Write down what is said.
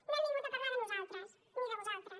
no hem vingut a parlar de nosaltres ni de vosaltres